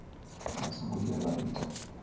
vha songo vhuya vha ita